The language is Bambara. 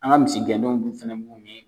An ka misi gɛndenw fɛnɛ